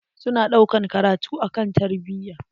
Su na ɗaukan karatu akan tarbiya.